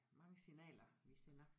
Mange signaler vi sender